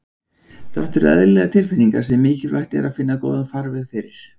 Þetta eru eðlilegar tilfinningar sem mikilvægt er að finna góðan farveg fyrir.